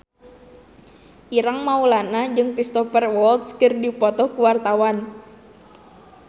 Ireng Maulana jeung Cristhoper Waltz keur dipoto ku wartawan